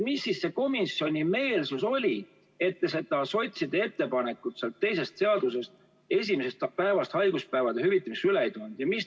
Milline see komisjoni meelsus siis oli, et te sotsiaaldemokraatide ettepanekut hüvitada haiguspäevad esimesest päevast alates sealt teisest seadusest üle ei toonud?